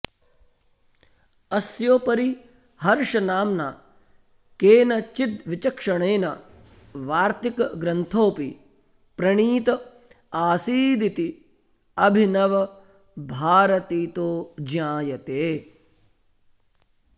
अस्योपरि हर्षनाम्ना केनचिद्विचक्षणेन वार्तिकग्रन्थोऽपि प्रणीत आसीदिति अभिनवभारतीतो ज्ञायते